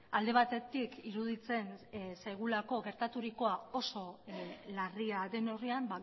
alde batetik iruditzen zaigulako gertaturikoa oso larria den neurrian